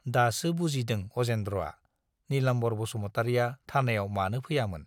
दासो बुजिदों अजेन्द्रआ - नीलाम्बार बसुमतारीया थानायाव मानो फैयामोन।